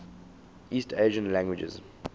east asian languages